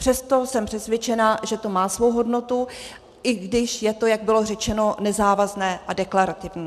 Přesto jsem přesvědčena, že to má svou hodnotu, i když je to, jak bylo řečeno, nezávazné a deklarativní.